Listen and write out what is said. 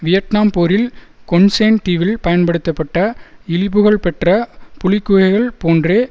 Vietnam போரில் Con Son தீவில் பயன்படுத்தப்பட்ட இழிபுகழ்பெற்ற புலிக்குகைகள் போன்றே